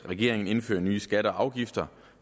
at regeringen indfører nye skatter og afgifter